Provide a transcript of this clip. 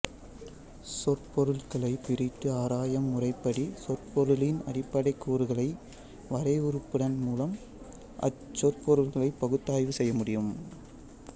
சொற்பொருள்களைப் பிரித்து ஆராயும் முறைப்படி சொற்பொருளின் அடிப்படைக் கூறுகளை வரையறுப்பதன் மூலம் அச் சொற்பொருள்களைப் பகுத்தாய்வு செய்யமுடியும்